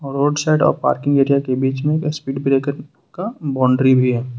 Road side और parking area के बीच में स्पीड ब्रेकर का बाउंड्री भी है।